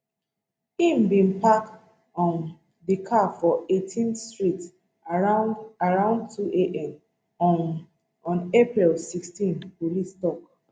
im bin park um di car for eighteenth street around around two am um on april sixteen police tok